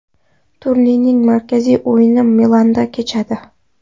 Turning markaziy o‘yini Milanda kechadi.